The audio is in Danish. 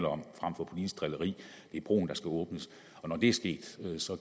om frem for politisk drilleri det er broen der skal åbnes og når det er sket